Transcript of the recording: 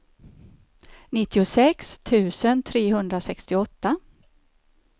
nittiosex tusen trehundrasextioåtta